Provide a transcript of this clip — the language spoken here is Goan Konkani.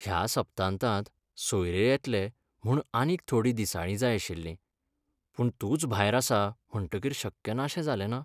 ह्या सप्तांतांत सोयरे येतले म्हूण आनीक थोडीं दिसाळीं जाय आशिल्लीं, पूण तूंच भायर आसा म्हणटकीर शक्य नाशें जालेंना?